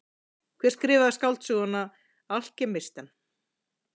Hver skrifaði skáldsöguna Alkemistann?